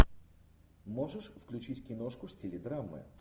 можешь включить киношку в стиле драмы